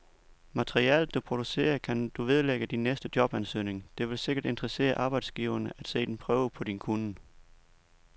Materialet, du producerer, kan du vedlægge din næste jobansøgning, det vil sikkert interessere arbejdsgiveren at se en prøve på din kunnen.